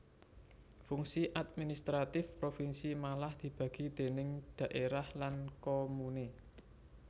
Fungsi administratif provinsi malah dibagi déning dhaérah lan komune